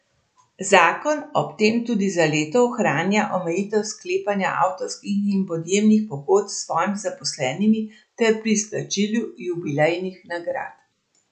Zakon ob tem tudi za leto ohranja omejitve sklepanja avtorskih in podjemnih pogodb s svojimi zaposlenimi ter pri izplačilu jubilejnih nagrad.